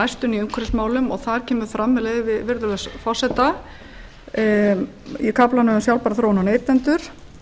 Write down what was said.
næstunni í umhverfismálum og þar kemur fram með leyfi virðulegs forseta í kaflanum um sjálfbæra þróun og neytendur